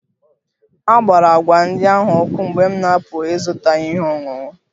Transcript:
A gbara agwa ndị ahụ ọkụ mgbe m na-apụ ịzụta ihe ọṅụṅụ